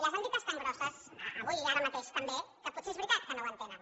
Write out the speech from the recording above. les han dites tan grosses avui ara mateix també que potser és veritat que no ho entenen